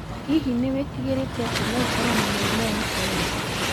Hihi nĩ wĩtigĩrĩte atĩ no ũkorwo na mũrimũ wa krera?